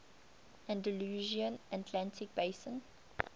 andalusian atlantic basin